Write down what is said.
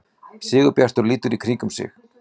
Sigurbjartur lítur í kringum sig.